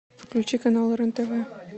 включи канал рен тв